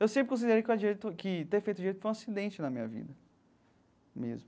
Eu sempre considerei que o direito que ter feito direito foi um acidente na minha vida mesmo.